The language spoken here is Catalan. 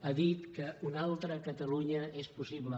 ha dit que una altra catalunya és possible